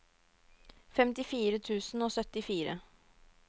femtifire tusen og syttifire